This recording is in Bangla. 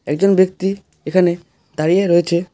একজন ব্যক্তি এখানে দাঁড়িয়ে রয়েছে।